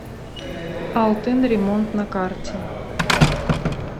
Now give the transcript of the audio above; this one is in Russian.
алтын ремонт на карте